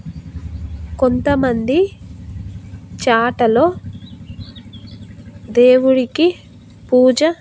కొంతమంది చాటలో దేవుడికి పూజ--